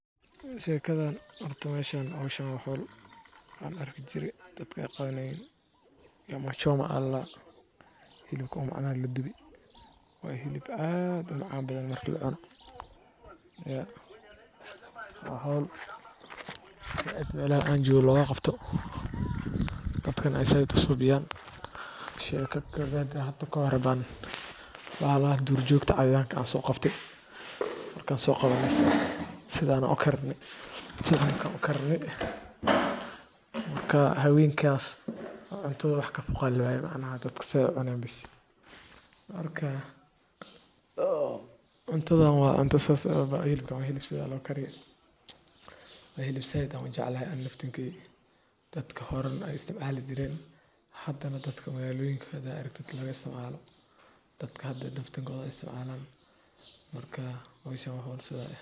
Shekadan horta ,horta howshan waa howl dadka aqana, dabka hooseeya ee joogtada ah wuxuu ka dhigaa hilibka mid si fiican u bislaada oo leh dhadhan qoto dheer. Xilib la dubay waxaa badanaa lala cunaa rooti, bariis, ama canjeero, waxaana lagu raaxaystaa maadaama uu dhadhan fiican iyo ur udgoon leeyahay. Waxa kale oo uu caan ku yahay in uu yahay hilib si fudud loo cuni karo, loogana maarmi karo saliid badan oo lagu kariyo. Xilibka la dubay wuxuu astaan u yahay sooryo soomaaliyeed oo dhaqameed, taas oo weli qiime sare ku leh bulshooyinka miyiga iyo magaalooyinka.